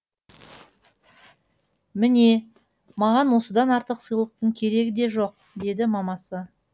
міне маған осыдан артық сыйлықтың керегі де жоқ деді мамасы